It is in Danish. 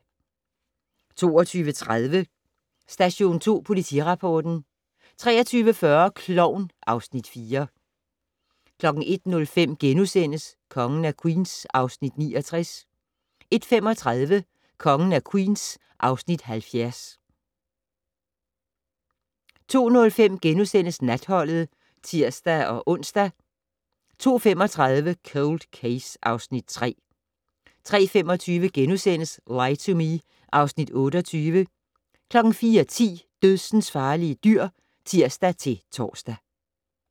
22:30: Station 2 Politirapporten 23:40: Klovn (Afs. 4) 01:05: Kongen af Queens (Afs. 69)* 01:35: Kongen af Queens (Afs. 70) 02:05: Natholdet *(tir-ons) 02:35: Cold Case (Afs. 3) 03:25: Lie to Me (Afs. 28)* 04:10: Dødsensfarlige dyr (tir-tor)